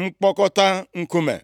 mkpokọta nkume.